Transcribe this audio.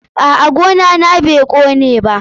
A'a, gona na bai kone ba.